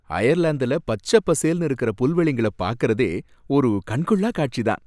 அயர்லாந்துல பச்சப்பசேல்னு இருக்குற புல்வெளிங்கள பார்க்கறதே ஒரு கண்கொள்ளாக் காட்சி தான்.